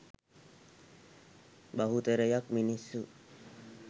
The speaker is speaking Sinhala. බහුතරයක් මිනිස්සු